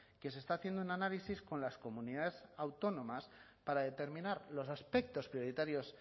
que se está haciendo un análisis con las comunidades autónomas para determinar los aspectos prioritarios